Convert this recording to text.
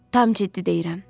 Tam ciddi deyirəm.